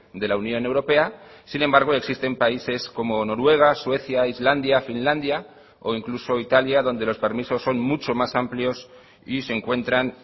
de la unión europea sin embargo existen países como noruega suecia islandia finlandia o incluso italia donde los permisos son mucho más amplios y se encuentran